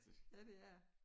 Ja det er